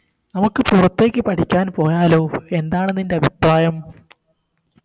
നമക്ക് പുറത്തേക്ക് പഠിക്കാൻ പോയാലോ എന്താണ് നിൻറെ അഭിപ്രായം